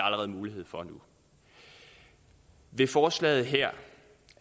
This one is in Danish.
allerede mulighed for nu i forslaget her